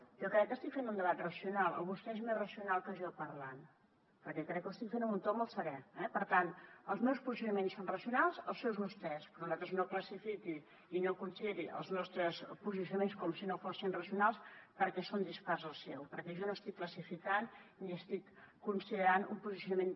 jo crec que estic fent un debat racional o vostè és més racional que jo parlant perquè crec que ho estic fent en un to molt serè eh per tant els meus posicionaments són racionals els seus també però no classifiqui i no consideri els nostres posicionaments com si no fossin racionals perquè són dispars als seus perquè jo no estic classificant ni estic considerant un posicionament